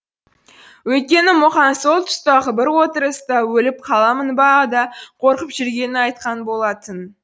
өйткені мұқаң сол тұстағы бір отырыста өліп қаламын ба да қорқып жүргенін айтқан болатын